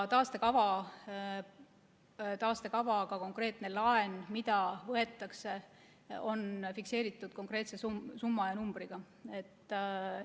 Taastekavaga konkreetne laen, mida võetakse, on fikseeritud konkreetse summa ja numbriga.